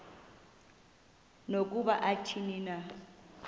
nokuba athini na